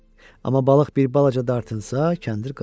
Amma balıq bir balaca dartınsa, kəndir qırılar.